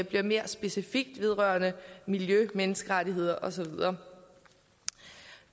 bliver mere specifikt vedrørende miljø menneskerettigheder og så videre